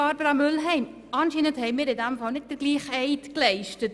Grossrätin Mühlheim, offenbar haben wir nicht den gleichen Eid geleistet.